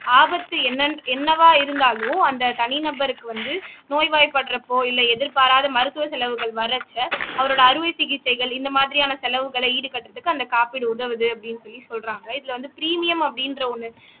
ஆபத்து என்ன என்னவா இருந்தாலும் அந்த தனி நபருக்கு வந்து நோய்வாய்ப்படுறப்போ இல்ல எதிர்பாராத மருத்துவ செலவுகள் வர்றச்ச அவரோட அறுவை சிகிச்சைகள் இந்த மாதிரியான செலவுகளை ஈடுகட்டுறதுக்கு அந்த காப்பீடு உதவுது அப்படின்னு சொல்லி சொல்றாங்க இதுல வந்து பிரீமியம் அப்படின்ற ஒண்ணு